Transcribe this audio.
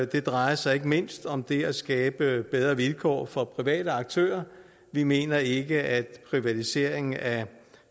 det drejer sig ikke mindst om det at skabe bedre vilkår for private aktører vi mener ikke at privatiseringen af